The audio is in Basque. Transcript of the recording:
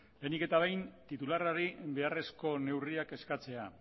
lehenik eta behin titularrari beharrezko neurriak eskatzea